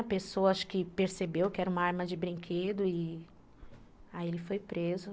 A pessoa acho que percebeu que era uma arma de brinquedo e aí ele foi preso.